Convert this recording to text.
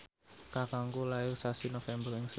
kakangku lair sasi November ing Sri Lanka